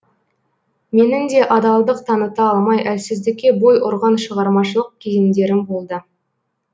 менің де адалдық таныта алмай әлсіздікке бой ұрған шығармашылық кезеңдерім болды